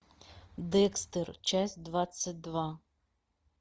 декстер часть двадцать два